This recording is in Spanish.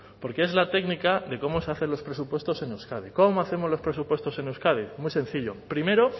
porque es la técnica de cómo se hacen los presupuestos en euskadi cómo hacemos los presupuestos en euskadi muy sencillo primero